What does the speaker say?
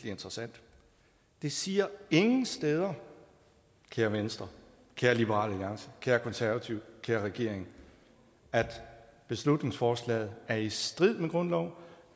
interessant det siger ingen steder kære venstre kære liberal alliance kære konservative kære regering at beslutningsforslaget er i strid med grundloven